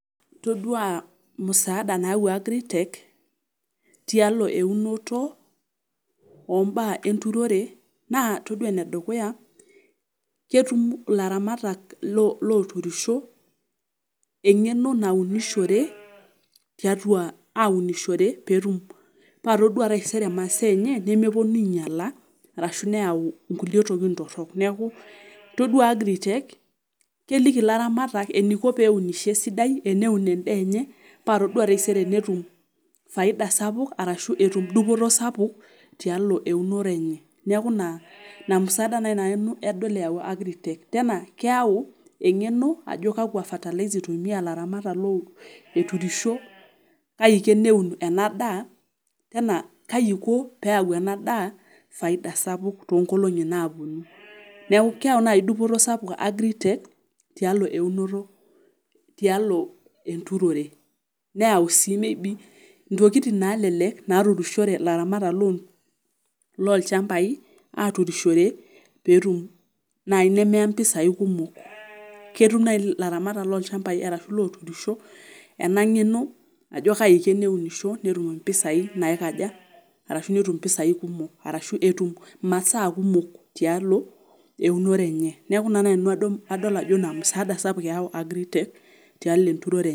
itodua msaada nayau agritech tialo eunoto oo mbaa enturore, naa itodua ene dukuya, ketum ilaramatak loturisho eng'eno naunishore, tiatua aunishore, pee ituadua taisere imasaa enye nemepuonu aing'iala arashu neyau nkulie tokitin torok, neeku itodua agritech keliki ilaramatak eniko pee unisho esidai, eniko peeun endaa enye. paa itodua tenetum faida sapuk ashu etum dupoto sapuk tialo eunore enye. neeku ina musaada naaji nanu adol eyau agritech tena keyau eng'eno ajo kakua fertilzers itumia ilaramata lun eturisho, kaiko eneun na daa, tena kai iko, pee eyau ena daa, faida sapuk too nkolong'i naapuonu, neeku keyau naaji dupoto sapuk agritech tialo eunoto tialo enturore, neyau sii maybe intokitin naalelek naaturishore ilaramatak loolchampai, aaturishore peetum naena i nemeya mpisai kumok. ketum naaji ilaramatak loo loolchampai, arashu looturisho, ena ng'eno ajo kaji iko teneturisho, netum mpisai naikaja, araashu netum mpisai, arashu etum masaa kumok tialo eunore enye. neeku ina naai nanu pee adol ajo ina msaada sapuk eyau agritech tialo enturore enye.